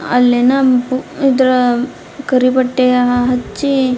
ಅಲ್ಲೆನೋ ಇದ್ರಮ್ ಕರಿ ಬಟ್ಟೆಯ ಹಚ್ಚಿ --